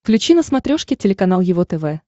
включи на смотрешке телеканал его тв